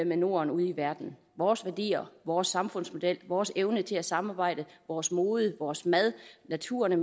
norden ude i verden vores værdier vores samfundsmodel vores evne til at samarbejde vores mode vores mad naturen og